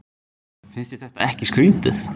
Finnst þér þetta ekki skrítið?